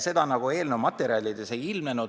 Seda eelnõu materjalides ei ilmne.